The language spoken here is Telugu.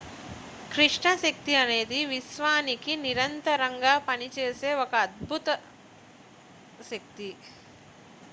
కృష్ణ శక్తి అనేది విశ్వానికి నిరంతరం గా పనిచేసే ఒక అదృశ్య శక్తి